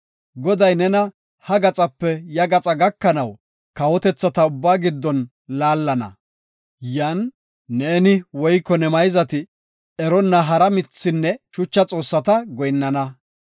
Goday nena ha gaxape ya gaxa gakanaw kawotethata ubbaa giddon laallana. Yan neeni woyko ne mayzati eronna hara mithinne shucha xoossata goyinnana.